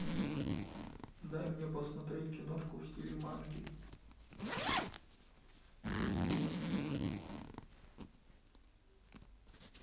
дай мне посмотреть киношку в стиле манги